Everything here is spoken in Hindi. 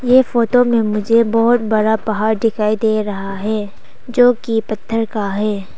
ये फोटो में मुझे बहोत बड़ा पहाड़ दिखाई दे रहा है जो की पत्थर का है।